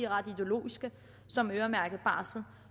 ret ideologiske som øremærket barsel